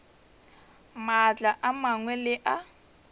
maatla a mangwe le a